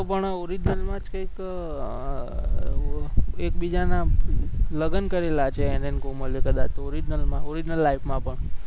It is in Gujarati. પણ original માં જ કંઈક એકબીજાના લગન કરેલા છે એને ને કોમલે કદાચ original માં original life માં પણ